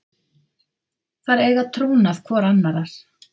Þær eiga trúnað hvor annarrar.